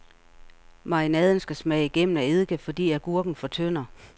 Marinaden skal smage igennem af eddike, fordi agurken fortynder.